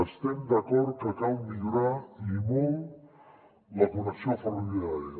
estem d’acord que cal millorar i molt la connexió ferroviària